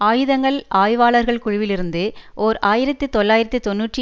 ஆயுதங்கள் ஆய்வாளர்கள் குழுவிலிருந்து ஓர் ஆயிரத்தி தொள்ளாயிரத்தி தொன்னூற்றி